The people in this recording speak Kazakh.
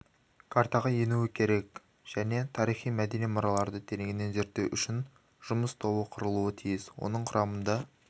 картаға енуі керек және тарихи-мәдени мұраларды тереңінен зерттеу үшін жұмыс тобы құрылуы тиіс оның құрамында